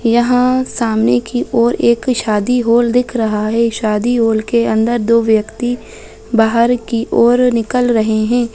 यह सामने की ओर एक शादी हॉल दिख रहा हैशादी हॉल के अंदर दो व्यक्ति बाहर की ओर निकल रहै है।